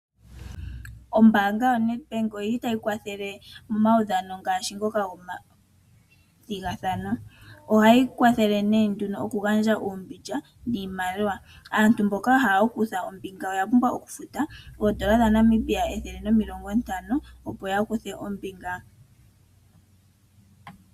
Ombaanga yo Nedbank oyili tayi kwathele momaudhano ngaashi ngoka gomathigathano. Ohayi kwathele okugandja uumbilya niimaliwa. Aantu mboka ya hala okukutha ombinga oya pumbwa okufuta oondola N$ 150 opo ya kuthe ombinga.